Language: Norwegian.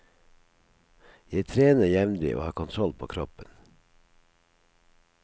Jeg trener jevnlig, og har kontroll på kroppen.